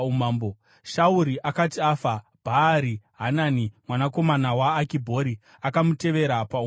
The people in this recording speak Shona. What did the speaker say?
Shauri akati afa, Bhaari-Hanani mwanakomana waAkibhori akamutevera paumambo.